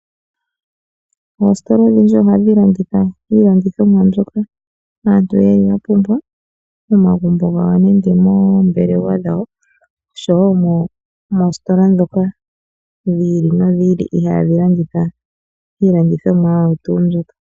Oositola odhindji ohadhi landitha iilandithomwa mbyoka aantu ye li yapumbwa momagumbo gawo nenge moombelewa dhawo oshowo moositola ndhoka dhi ili nodhi ili ihadhi landitha iilandithomwa oyo tuu mbyoka.